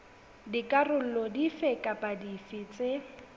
dikarolo dife kapa dife tse